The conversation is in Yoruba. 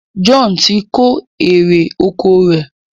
John tí kò èrò ọkọ̀ rẹ.